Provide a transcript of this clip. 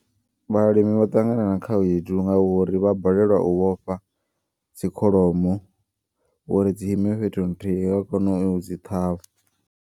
Vhalimi vha ṱangana na khaedu ngauri vha balelwa u vhofha dzikholomo. Uri dzi ime fhethu nthihi vha kone u dzi ṱhavha.